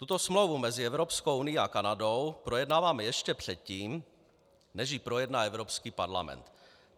Tuto smlouvu mezi Evropskou unií a Kanadou projednáváme ještě předtím, než ji projedná Evropský parlament.